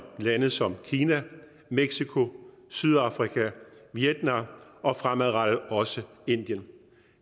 lande som kina mexico sydafrika og vietnam og fremadrettet også indien